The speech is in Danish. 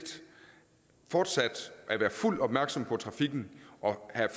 fortsat at være fuldt opmærksom på trafikken og